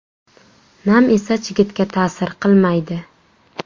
Nam esa chigitga ta’sir qilmaydi.